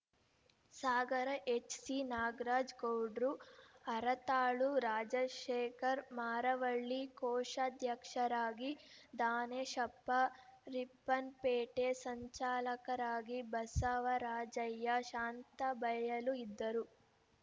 ಸಾಗರ H C Nagaraj ಗೌಡ್ರು ಹರತಾಳು ರಾಜಶೇಖರ್‌ ಮಾರವಳ್ಳಿ ಕೋಶಾಧ್ಯಕ್ಷರಾಗಿ ದಾನೇಶಪ್ಪ ರೀಪ್ಪನ್‌ ಪೇಟೆ ಸಂಚಾಲಕರಾಗಿ ಬಸವರಾಜಯ್ಯ ಶಾಂತಬಯಲು ಇದ್ದರು